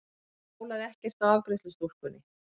Það bólaði ekkert á afgreiðslustúlkunni.